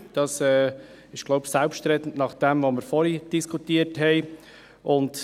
Ich denke, das ist selbstredend, nach dem, was wir vorhin diskutiert haben.